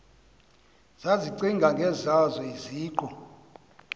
zazicinga ngezazo iziqu